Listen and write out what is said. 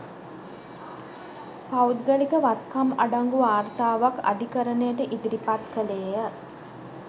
පෞද්ගලික වත්කම් අඩංගු වාර්තාවක් අධිකරණයට ඉදිරිපත් කළේය